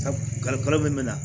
Kalifa min na